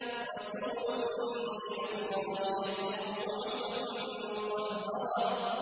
رَسُولٌ مِّنَ اللَّهِ يَتْلُو صُحُفًا مُّطَهَّرَةً